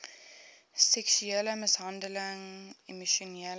seksuele mishandeling emosionele